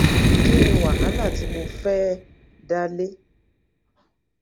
kí ni wàhálà tí mo fẹẹ dá lé